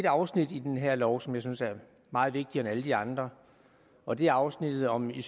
afsnit i den her lov som jeg synes er meget vigtigere end alle de andre og det er afsnittet om det